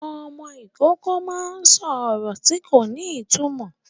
Ọmọ Ìkọkọ má ń sọ ọrọ tí kò ní ìtumọ